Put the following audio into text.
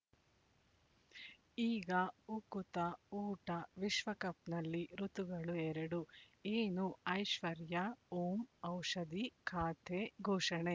ಈಗ ಉಕುತ ಊಟ ವಿಶ್ವಕಪ್‌ನಲ್ಲಿ ಋತುಗಳು ಎರಡು ಏನು ಐಶ್ವರ್ಯಾ ಓಂ ಔಷಧಿ ಖಾತೆ ಘೋಷಣೆ